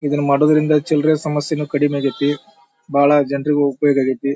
ಇದ್ರ ಮಾಡುದ್ರದಿಂದ ಚಿಲ್ರೆ ಸಮಸ್ಯೆನು ಕಡಿಮಿ ಆಗೈತಿ ಬಾಳ ಜನ್ರಿಗು ಒಪಯೋಗ ಆಗೈತಿ.